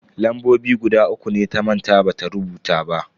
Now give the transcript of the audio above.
Lambobi guda uku ne ta manta bata rubuta ba.